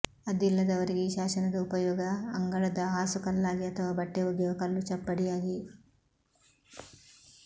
ಅದಿಲ್ಲದವರಿಗೆ ಆ ಶಾಸನದ ಉಪಯೋಗ ಅಂಗಳದ ಹಾಸು ಕಲ್ಲಾಗಿ ಅಥವಾ ಬಟ್ಟೆ ಒಗೆಯುವ ಕಲ್ಲು ಚಪ್ಪಡಿಯಾಗಿ